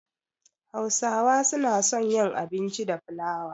Hausawa suna son yin abinci da flawa.